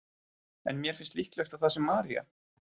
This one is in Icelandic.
En mér finnst líklegt að það sé María.